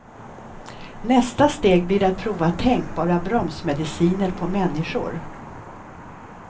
Nästa steg blir att prova tänkbara bromsmediciner på människor.